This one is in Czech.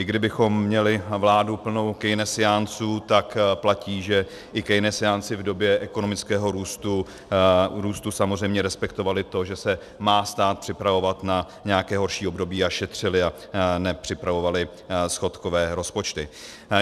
I kdybychom měli vládu plnou keynesiánců, tak platí, že i keynesiánci v době ekonomického růstu samozřejmě respektovali to, že se má stát připravovat na nějaké horší období, a šetřili a nepřipravovali schodkové rozpočty.